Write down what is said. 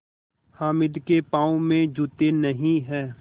हामिद के पाँव में जूते नहीं हैं